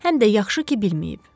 Həm də yaxşı ki, bilməyib.